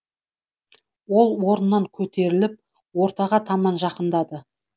ол орнынан көтеріліп ортаға таман жақындады